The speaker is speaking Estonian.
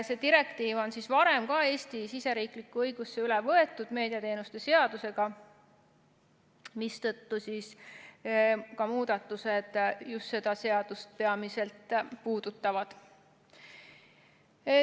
See direktiiv on ka varem Eesti siseriiklikku õigusse üle võetud meediateenuste seadusega, mistõttu ka muudatused puudutavad peamiselt just seda seadust.